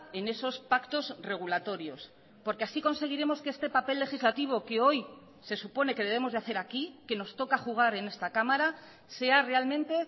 en esos pactos regulatorios porque así conseguiremos que este papel legislativo que hoy se supone que debemos de hacer aquí que nos toca jugar en esta cámara sea realmente